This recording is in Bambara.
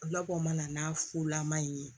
Labɔ mana n'a fula man in ye